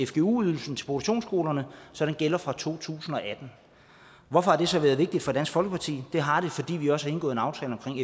fgu ydelsen til produktionsskolerne så den gælder fra to tusind og atten hvorfor har det så været vigtigt for dansk folkeparti det har det fordi vi også har indgået en aftale omkring